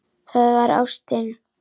Það var ástin.